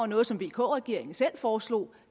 noget som vk regeringen selv foreslog